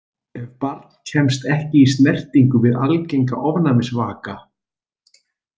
Ef barn kemst ekki í snertingu við algenga ofnæmisvaka.